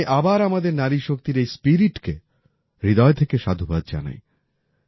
আমি আবার আমাদের নারী শক্তির এই spiritকে হৃদয় থেকে সাধুবাদ জানাই